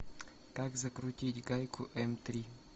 как закрутить гайку м три